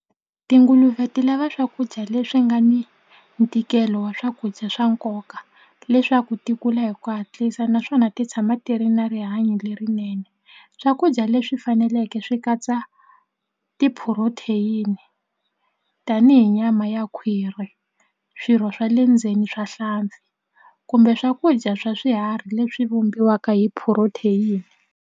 Tinguluve ti lava swakudya leswi nga ni ntikelo wa swakudya swa nkoka leswaku ti kula hi ku hatlisa naswona ti tshama ti ri na rihanyo lerinene swakudya leswi faneleke swi katsa ti-protein tanihi nyama ya khwiri swirho swa le ndzeni swa hlampfi kumbe swakudya swa swiharhi leswi vumbiwa mhaka hi protein.